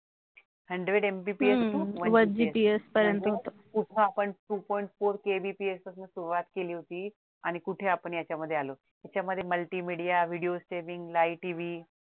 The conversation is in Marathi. hundred MPPS to one GPS कुठं आपण two point four KBPS पासून सुरुवात केली होती आणि कुठे आपण याच्या मध्ये आलो त्याच्यामध्ये मल्टीमीडिया video screeninglive TV